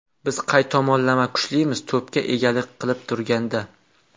Biz qay tomonlama kuchlimiz to‘pga egalik qilib turganda.